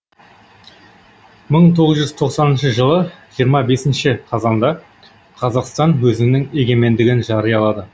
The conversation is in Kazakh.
мың тоғыз жүз тоқсаныншы жылы жиырма бесінші қазанда қазақстан өзінің егемендігін жариялады